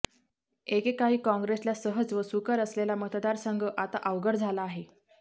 एकेकाळी काॅग्रेसला सहज व सुकर असलेला मतदार संघ आता अवघड झाला आहे